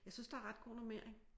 Jeg synes der er ret god normering